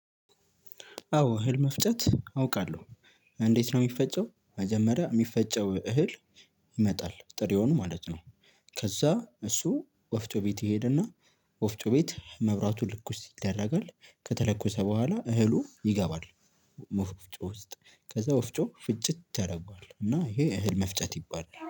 አዎ እህል መፍጨት አውቃለሁ። እንዴት ነው የሚፈጨው መጀመሪያ የሚፈጨው እህል ይመጣል። ጥሪውን ማለት ነው ከዛ እሱ ወፍጮ ቤት ይሔድና መብራቱ ልኩስ ይደረጋል። ከተለኮሰ በኋላ እህሉ ይገባል ወፍጮ ውስጥ ከዛ ወፍጮ ፍጭት ያደርገዋል። ከዛ ይኸ እህል መፍጨት ይባላል።